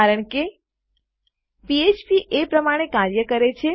કારણ કે ફ્ફ્પ એ પ્રમાણે કાર્ય કરે છે